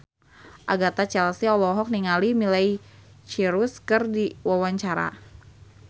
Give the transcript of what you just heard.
Agatha Chelsea olohok ningali Miley Cyrus keur diwawancara